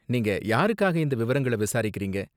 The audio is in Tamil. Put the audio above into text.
நீங்க யாருக்காக இந்த விவரங்கள விசாரிக்கிறீங்க?